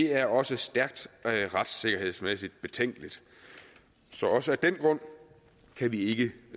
er også stærkt retssikkerhedsmæssigt betænkeligt så også af den grund kan vi ikke